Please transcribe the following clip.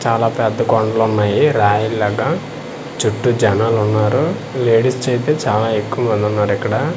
చాలా పెద్ద కొండలు ఉన్నాయి రాయి లాగా చుట్టూ జనాలున్నారు లేడీస్ చేయితే చాలా ఎక్కువ మంది ఉన్నారు ఇక్కడ.